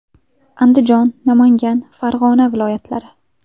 Andijon, Namangan, Farg‘ona viloyatlari.